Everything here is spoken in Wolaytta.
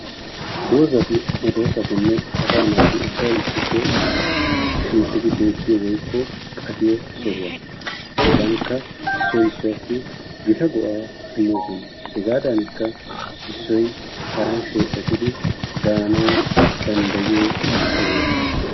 Doozati medoosatinne asaa naati ubbay issippe shiiqidi beettiyo woykko aqiyo sohuwa. Hegankka issoy issuwassi gita go'aa immoosona. Hegaadaanikka issoy haran sheephetidi daanawu danddayiyo sohuwa.